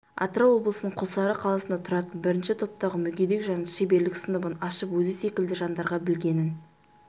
атырау облысының құлсары қаласында тұратын бірінші топтағы мүгедек жан шеберлік сыныбын ашып өзі секілді жандарға білгенін